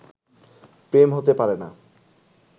প্রেম হতে পারে না